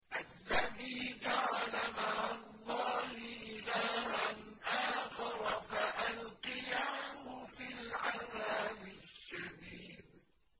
الَّذِي جَعَلَ مَعَ اللَّهِ إِلَٰهًا آخَرَ فَأَلْقِيَاهُ فِي الْعَذَابِ الشَّدِيدِ